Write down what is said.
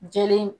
Jelen